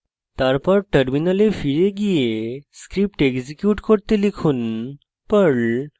তারপর terminal ফিরে perl script execute করুন